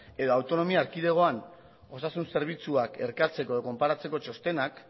edo autonomia erkidegoan osasun zerbitzuak elkartzeko edo konparatzeko txostenak